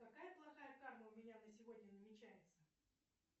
какая плохая карма у меня на сегодня намечается